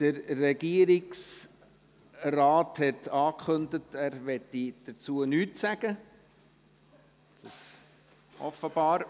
Der Regierungsrat hat angekündigt, er wolle nichts dazu sagen.